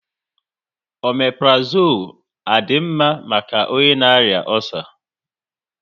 Omaprozole à di mma maka onye na arịa ọcer?